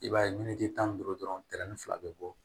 I b'a ye tan ni duuru dɔrɔn tɛrɛn fila bɛ bɔ